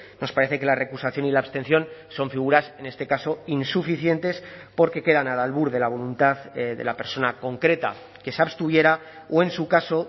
nos parece que la recusación y la abstención son figuras en este caso insuficientes porque quedan al albur de la voluntad de la persona concreta que se abstuviera o en su caso